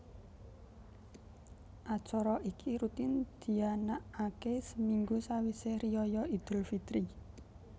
Acara iki rutin dianakake seminggu sawise riyaya idul fitri